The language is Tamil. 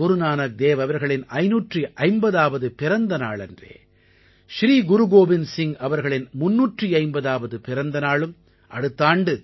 குருநானக் தேவ் அவர்களின் 550ஆவது பிறந்தநாளன்றே ஸ்ரீ குருகோவிந்த் சிங்க் அவர்களின் 350ஆவது பிறந்தநாளும் அடுத்த ஆண்டு